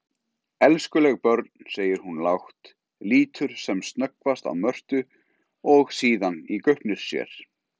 Elskuleg börn, segir hún lágt, lítur sem snöggvast á Mörtu og síðan í gaupnir sér.